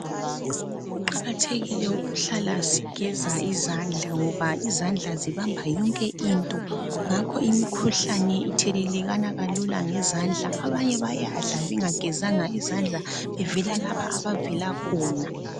Kuqakathekile ukuhlala sigeza izandla ngoba izandla zibamba yonke into, ngakho imikhuhlane ithelelekana kalula ngezandla, abanye bayadla bengagezanga izandla bevela lapha abavela khona.